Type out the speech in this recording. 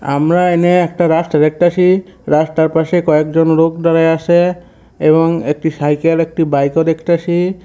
আমরা এনে একটা রাস্তা দেখতে পাচ্ছি। রাস্তার পাশে কয়েকজন লোক দাঁড়াইয়া আছে এবং একটি সাইকেল একটি বাইক ও দেখতেছি।